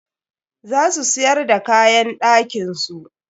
Za su siyar d kaayan ɗakin su.